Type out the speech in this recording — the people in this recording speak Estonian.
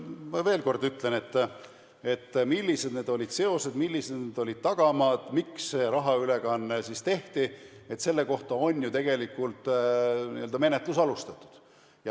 No ma ütlen veel kord, et selle kohta, millised olid seosed, millised olid need tagamaad, miks see rahaülekanne tehti, on ju menetlus alustatud.